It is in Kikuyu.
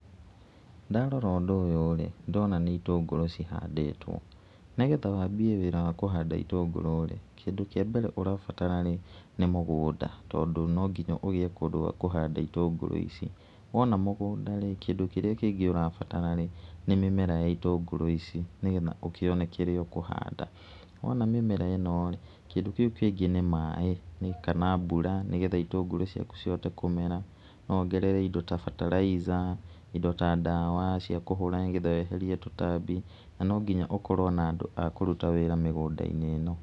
Ndarora ũndũ ũyũ rĩ, nĩ ndĩrona nĩ itũngũrũ cihandĩtwo. Nĩgetha wambie wĩra wa kũhanda itũngũrũ rĩ, kĩndũ kĩa mbere ũrabatara rĩ nĩ mũgũnda tondũ no nginya ũgĩe kũndũ gwa kũhanda itũngũrũ ici wona mũgũnda-ri kĩndũ kĩrĩa kĩngĩ ũrabatara rĩ, nĩ mĩmera ya itũngũrũ ici nĩgetha ũkĩone kĩrĩa ũkũhanda, wona mĩmera ĩno rĩ, kĩndũ kĩu kĩngĩ nĩ maĩ kana mbura nĩgetha itũngũrũ ciaku cihote kũmera no wongerere indo ta fertilizer indo ta ndawa cia kũhũra nĩgetha weherie tũtambi na no nginya ũkorwo na andũ a kũruta wĩra mĩgũnda-inĩ ĩno.